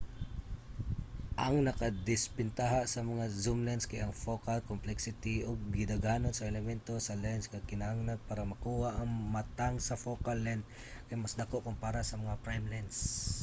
ang nakadisbentaha sa mga zoom lens kay ang focal complexity ug ang gidaghanon sa elemento sa lens nga kinahanglan para makuha ang matang sa focal length kay mas dako kumpara sa mga prime lens